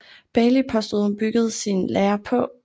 Bailey påstod hun byggede sin lære på